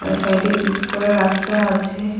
আর সাইডে পিস করা রাস্তা আছে।